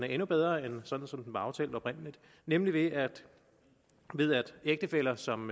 endnu bedre end sådan som den var aftalt oprindelig nemlig ved at ægtefæller som